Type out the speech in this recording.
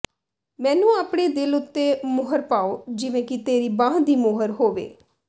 ਮੈਨੂੰ ਆਪਣੇ ਦਿਲ ਉੱਤੇ ਮੁਹਰ ਪਾਓ ਜਿਵੇਂ ਕਿ ਤੇਰੀ ਬਾਂਹ ਦੀ ਮੋਹਰ ਹੋਵੇ